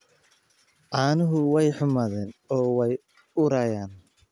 Caanuhu way xumaadeen oo way urayaan.